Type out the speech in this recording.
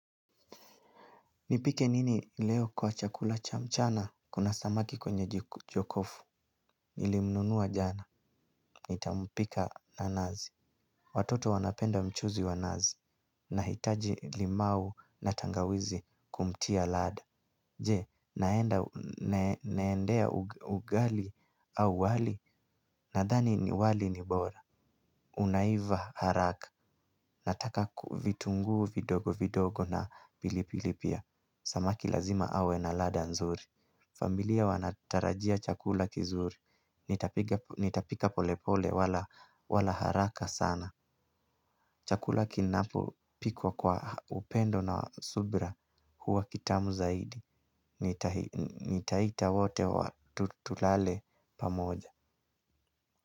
Nipike nini leo kwa chakula cha mchana, kuna samaki kwenye jokofu, nilimnunua jana, nitampika na nazi. Watoto wanapenda mchuzi wa nazi, nahitaji limau na tangawizi kumtia lad. Je, naendea ugali au wali, nadhani ni wali ni bora. Unaiva haraka, nataka ku vitunguu vidogo vidogo na pilipili pia. Samaki lazima awe na lada nzuri. Familia wanatarajia chakula kizuri. Nitapika polepole wala haraka sana. Chakula kinapo pikwa kwa upendo na subra huwa kitamu zaidi. Nitaita wote wa tu tulale pamoja.